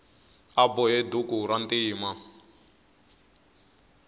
a bohe duku rantima